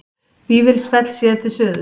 Vífilsfell séð til suðurs.